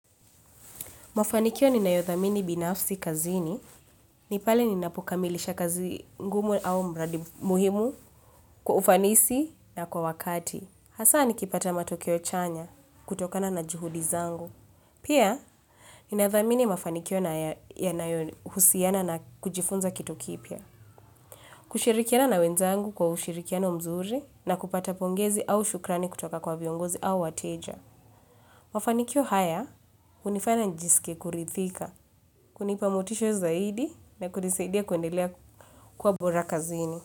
Mafaniko ninayodhamini binafsi kazini, ni pale ninapokamilisha kazi ngumu au mradi muhimu kwa ufanisi na kwa wakati. Hasa nikipata matokeo chanya kutokana na juhudi zangu. Pia ninadhamini mafaniko yanayohusiana na kujifunza kitu kipya. Kushirikiana na wenzangu kwa ushirikiano mzuri na kupata pongezi au shukrani kutoka kwa viongozi au wateja. Mfanikio haya, kunifanya nijisike kuridhika, kunipa motisha zaidi na kunisaidia kuendelea kwa bora kazini.